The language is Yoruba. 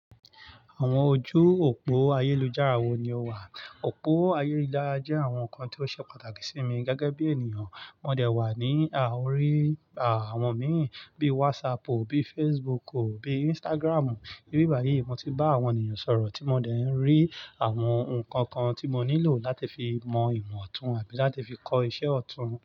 Àwọn ojú òpó ayélujára wo ni o wà? Òpó ayélujára jẹ́ àwọn nnkan tí ó ṣe pàtàkì sí mi gẹ́gẹ́ bí ènìyàn. Mo dè wà ní à-orí-à àwọn míì bíi WhatsAppu, bíi Facebooku, bíi Instagramu. Ibí bàyíì, mo ti bá àwọn ènìyàn sọ̀rọ̀ tí mo dè ń rí àwọn nǹkan kan tí mo nílò láti fi mọ ìmọ̀ ọ̀tún àbí láti fi kọ́ iṣẹ́ ọ̀tún.